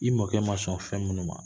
I mɔkɛ ma sɔn fɛn minnu ma